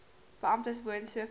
beamptes woon soveel